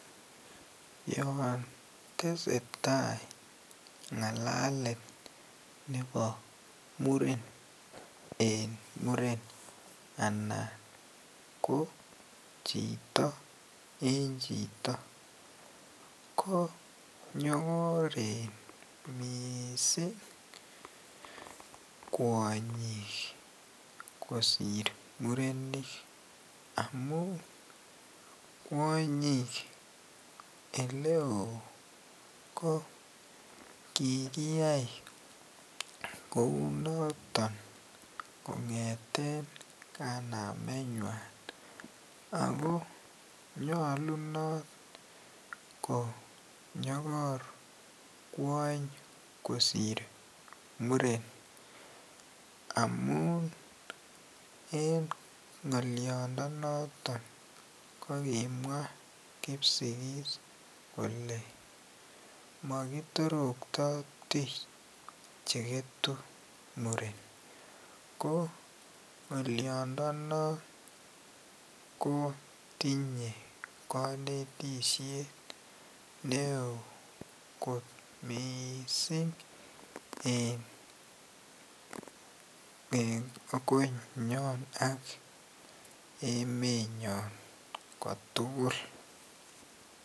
Yoon tesetai ngalalet nebo muren en muren anan ko chito en chito ko nyokoren mising kwonyik kosir murenik amun kwonyik eleo ko kikiyai kounoton kongeten kanamenywan ak ko nyolunot konyokor kwoony kosir muren amun en ngoliondonoton ko kimwaa kipsigis kolee mokitorokto tich cheketu muren ko ngoliondo non kotinye konetishet neoo kot mising en konyon ak emenyon kotukul.